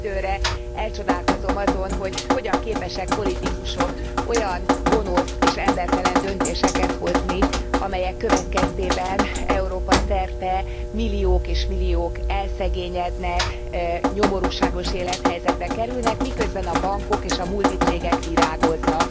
Időről időre elcsodálkozom azon, hogy hogyan képesek politikusok olyan gonosz és embertelen döntéseket hozni, amelyek következtében Európa szerte milliók és milliók elszegényednek, nyomorúságos élethelyzetbe kerülnek, miközben a bankok és a multicégek virágoznak.